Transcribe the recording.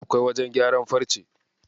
Akwai wajen gyaran farce?